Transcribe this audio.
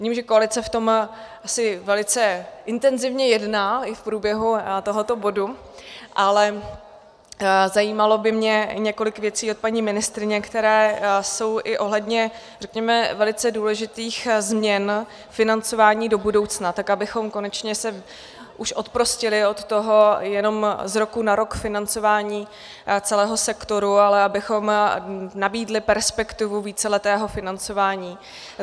Vidím, že koalice v tom asi velice intenzívně jedná i v průběhu tohoto bodu, ale zajímalo by mě několik věcí od paní ministryně, které jsou i ohledně řekněme velice důležitých změn financování do budoucna, tak abychom konečně se už oprostili od toho jenom z roku na rok financování celého sektoru, ale abychom nabídli perspektivu víceletého financování.